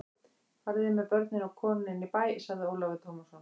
Fariði með börnin og konuna inn í bæ, sagði Ólafur Tómasson.